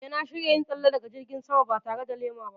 Eh, na shirya yin tsalle daga jirgin sama ba tare da lema ba.